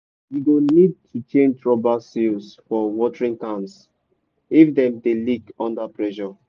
you go need to change rubber seals for watering cans if dem dey leak under pressure.